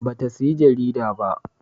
Ba ta saya jarida ba